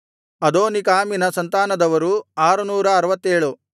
ಅದೋನೀಕಾಮಿನ ಸಂತಾನದವರು 667